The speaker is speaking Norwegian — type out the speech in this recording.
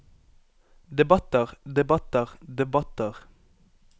debatter debatter debatter